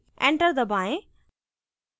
enter दबाएँ